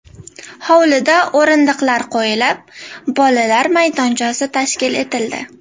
Hovlida o‘rindiqlar qo‘yilib, bolalar maydonchasi tashkil etildi.